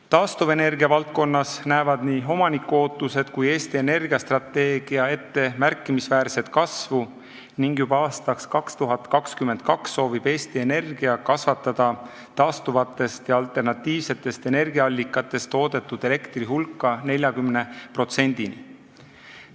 Taastuvenergia valdkonnas näevad nii omaniku ootused kui ka Eesti Energia strateegia ette märkimisväärset kasvu ning juba aastaks 2022 soovib Eesti Energia kasvatada taastuvatest ja alternatiivsetest energiaallikatest toodetud elektri hulka 40%-ni.